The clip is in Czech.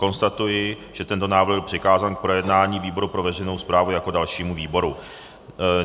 Konstatuji, že tento návrh byl přikázán k projednání výboru pro veřejnou správu jako dalšímu výboru.